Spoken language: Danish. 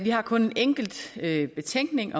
har kun en enkelt betænkelighed